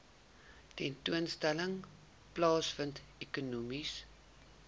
tentoonstelling plaasvind ekonomiese